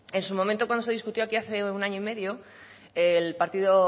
en su momento cuando se discutió aquí hace un año y medio el partido